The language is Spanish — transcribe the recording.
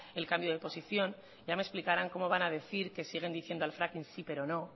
el cambio de posición ya me explicarán cómo van a decir que siguen diciendo al fracking sí pero no